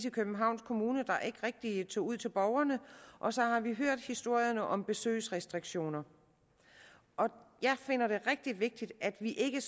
i københavns kommune der ikke rigtig tog ud til borgerne og så har vi hørt historierne om besøgsrestriktioner jeg finder det rigtig vigtigt at vi ikke